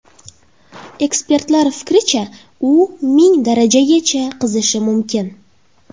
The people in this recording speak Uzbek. Ekspertlar fikricha, u ming darajagacha qizishi mumkin.